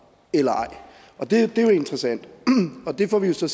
eller ej det er jo interessant og det får vi jo så